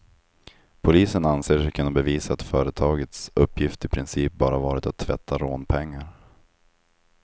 Polisen anser sig kunna bevisa att företagets uppgift i princip bara varit att tvätta rånpengar.